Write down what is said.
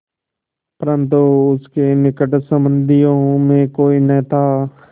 परन्तु उसके निकट संबंधियों में कोई न था